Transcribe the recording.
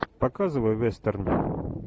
показывай вестерн